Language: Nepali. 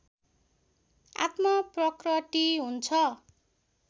आत्मप्रकटि हुन्छ